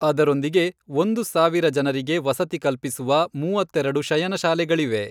ಅದರೊಂದಿಗೆ, ಒಂದು ಸಾವಿರ ಜನರಿಗೆ ವಸತಿ ಕಲ್ಪಿಸುವ ಮೂವತ್ತೆರೆಡು ಶಯನಶಾಲೆಗಳಿವೆ.